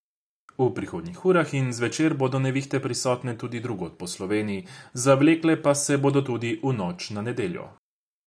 V prihodnjih urah in zvečer bodo nevihte prisotne tudi drugod po Sloveniji, zavlekle pa se bodo tudi v noč na nedeljo.